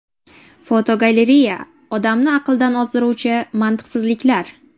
Fotogalereya: Odamni aqldan ozdiruvchi mantiqsizliklar.